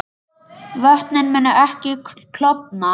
Vötnin munu ekki klofna